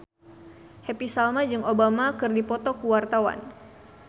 Happy Salma jeung Obama keur dipoto ku wartawan